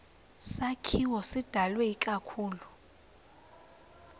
sakhiwo sidalwe ikakhulu